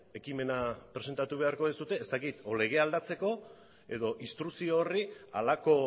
ekimena presentatu beharko duzue ez dakit legea aldatzeko edo instrukzio horri halako